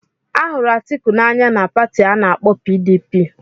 Ahụrụ Atiku n'anya na Pati ana-akpo PDP.